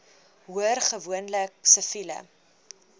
hoor gewoonlik siviele